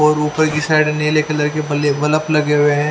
और ऊपर कि साईट नील कलर के बले बल्ब लगे हुए है।